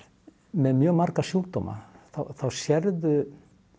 með mjög marga sjúkdóma þá sérðu